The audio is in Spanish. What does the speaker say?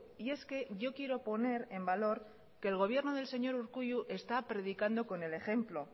y es que yo quiero poner en valor que el gobierno del señor urkullu está predicando con el ejemplo